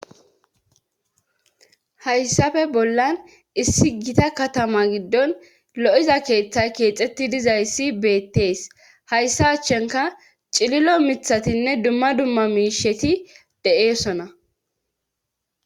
hayssafe bollan issi gita katama giddon lo'iza keeththay keexxetti dizayssi beettees. hayssa achchankka cililo mithatinne dumma dumma miisheti de'oosona.